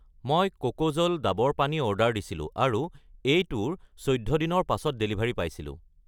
মই কোকোজল ডাবৰ পানী অৰ্ডাৰ দিছিলোঁ আৰু এইটোৰ 14 দিনৰ পাছত ডেলিভাৰী পাইছিলোঁ।